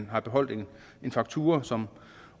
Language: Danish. har beholdt en faktura som